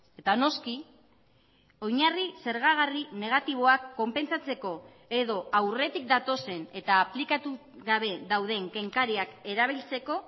eta noski oinarri zergagarri negatiboak konpentsatzeko edo aurretik datozen eta aplikatu gabe dauden kenkariak erabiltzeko